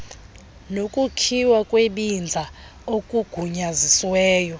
nokukhiwa kwebinza okugunyazisiweyo